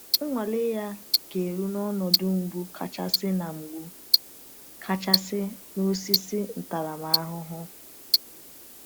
Nnwale ya ga-eru n’ọnọdụ mgbu kachasị na mgbu kachasị na osisi ntaramahụhụ.